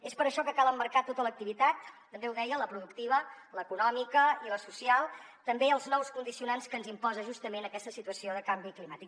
és per això que cal emmarcar tota l’activitat també ho deia la productiva l’econòmica i la social també els nous condicionants que ens imposa justament aquesta situació de canvi climàtic